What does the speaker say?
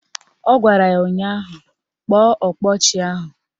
Ọ gwara ya ụnyaahụ " Kpọọ ọkpa ọchị ahụ"!